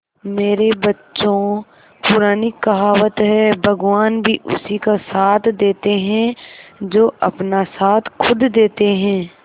मेरे बच्चों पुरानी कहावत है भगवान भी उसी का साथ देते है जो अपना साथ खुद देते है